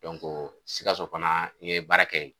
sikaso fana n ye baara kɛ yen